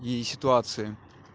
и ситуации